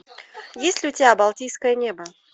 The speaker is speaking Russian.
есть ли у тебя балтийское небо